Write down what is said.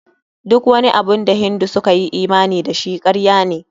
Duk wani abun da Hindu suka yi imani da shi, karya ne.